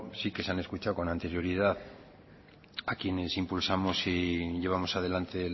sí que se han escuchado con anterioridad a quienes impulsamos y llevamos adelante